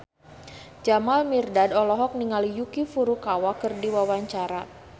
Jamal Mirdad olohok ningali Yuki Furukawa keur diwawancara